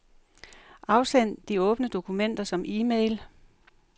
Afsend de åbne dokumenter som e-mail.